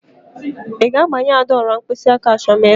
Ị ga-agbanye Ada ọla mkpịsịaka achọm ịlụ!